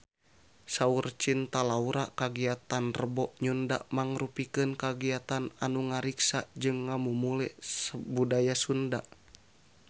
Saur Cinta Laura kagiatan Rebo Nyunda mangrupikeun kagiatan anu ngariksa jeung ngamumule budaya Sunda